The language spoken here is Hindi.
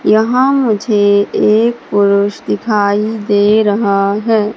यहां मुझे एक पुरुष दिखाई दे रहा है।